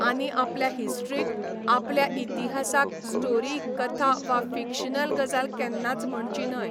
आनी आपल्या हिस्ट्रीक, आपल्या इतिहासाक स्टोरी कथा वा फिकश्नल गजाल केन्नाच म्हणची न्हय.